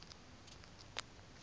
kwafilingi